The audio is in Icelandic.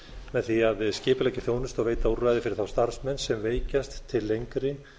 með því að skipuleggja þjónustu og veita úrræði fyrir þá starfsmenn sem veikjast til lengri